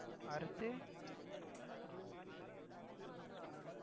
அருப்பு~